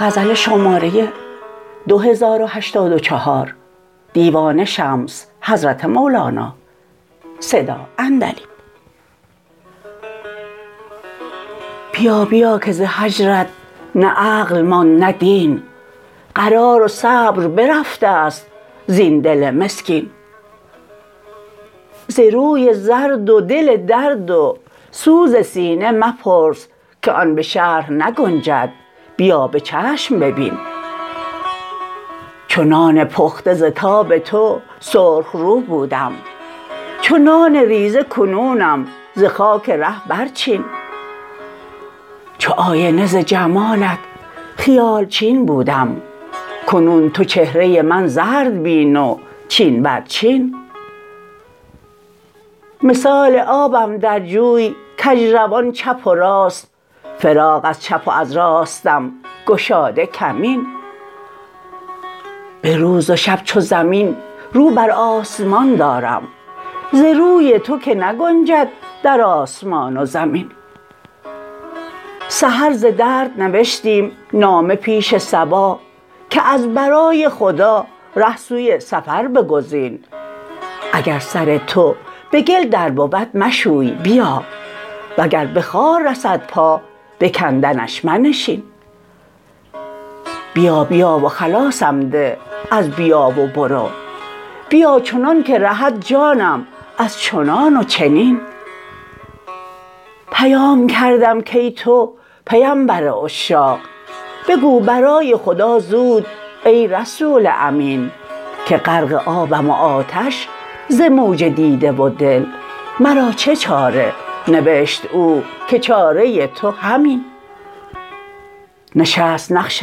بیا بیا که ز هجرت نه عقل ماند نه دین قرار و صبر برفته ست زین دل مسکین ز روی زرد و دل درد و سوز سینه مپرس که آن به شرح نگنجد بیا به چشم ببین چو نان پخته ز تاب تو سرخ رو بودم چو نان ریزه کنونم ز خاک ره برچین چو آینه ز جمالت خیال چین بودم کنون تو چهره من زرد بین و چین برچین مثال آبم در جوی کژ روان چپ و راست فراق از چپ و از راستم گشاده کمین به روز و شب چو زمین رو بر آسمان دارم ز روی تو که نگنجد در آسمان و زمین سحر ز درد نوشتیم نامه پیش صبا که از برای خدا ره سوی سفر بگزین اگر سر تو به گل در بود مشوی بیا وگر به خار رسد پا به کندنش منشین بیا بیا و خلاصم ده از بیا و برو بیا چنانک رهد جانم از چنان و چنین پیام کردم کای تو پیمبر عشاق بگو برای خدا زود ای رسول امین که غرق آبم و آتش ز موج دیده و دل مرا چه چاره نوشت او که چاره تو همین نشست نقش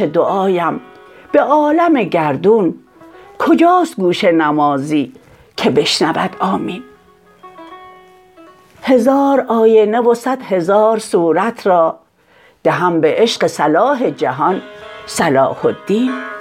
دعایم به عالم گردون کجاست گوش نمازی که بشنود آمین هزار آینه و صد هزار صورت را دهم به عشق صلاح جهان صلاح الدین